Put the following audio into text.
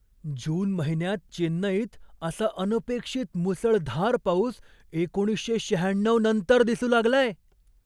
जून महिन्यात चेन्नईत असा अनपेक्षित मुसळधार पाऊस एकोणीसशे शहाण्णव नंतर दिसू लागलाय.